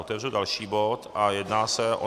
Otevřu další bod a jedná se o